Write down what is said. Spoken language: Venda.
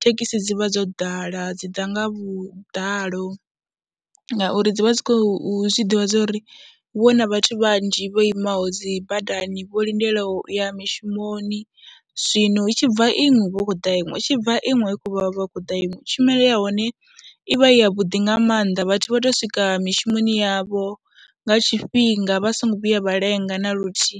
thekhisi dzi vha dzo ḓala, dzi ḓa nga vhuḓalo ngauri dzi vha dzi khou zwi ḓivha zwa uri hu vha hu na vhathu vhanzhi vho imaho dzi badani, vho lindelaho u ya mishumoni. Zwino hu tshi bva iṅwe, hu vha hu khou ḓa iṅwe, hu tshi bva iṅwe hu vha hu khou ḓa iṅwe, tshumelo ya hone i vha i yavhuḓi nga maanḓa. Vhathu vha tou swika mishumoni yavho nga tshifhinga vha songo vhuya vha lenga na luthihi.